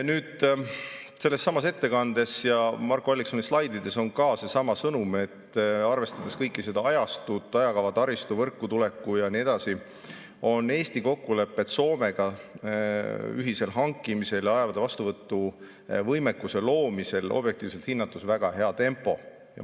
Nüüd, sellessamas ettekandes ja Marko Alliksoni slaidides on ka seesama sõnum, et arvestades kõike seda ajastut, ajakava, taristut, võrku tulekut ja nii edasi, on Eesti kokkulepped Soomega ühisel hankimisel ja laevade vastuvõtu võimekuse loomisel objektiivselt hinnates väga hea tempoga.